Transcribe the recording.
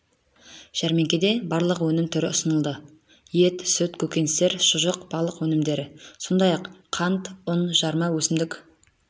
жәрмеңкеде барлығы өнім түрі ұсынылды ет сүт көкөністер шұжық балық өнімдері сондай-ақ қант ұн жарма өсімдік